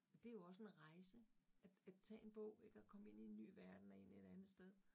Og det jo også en rejse at at tage en bog ik, og komme ind i en ny verden og ind et andet sted